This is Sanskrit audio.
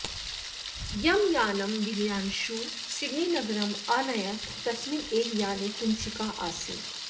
यं यानं दिव्यांशुः सिडनीनगरं अनयत् तस्मिन् एव याने कुञ्चिका आसीत्